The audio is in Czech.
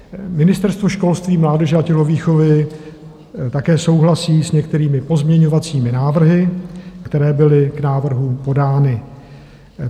Ministerstvo školství, mládeže a tělovýchovy také souhlasí s některými pozměňovacími návrhy, které byly k návrhu podány.